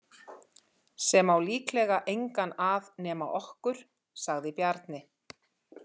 Sem á líklega engan að nema okkur, sagði Bjarni.